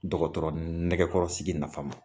Dɔkɔtɔrɔ nɛkɛkɔrɔsigi nafama.